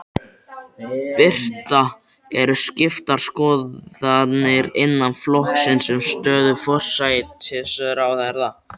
Birta: Eru skiptar skoðanir innan flokksins um stöðu forsætisráðherra?